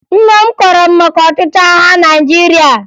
Nna m kọọrọ m maka ọchịchị agha Naịjirịa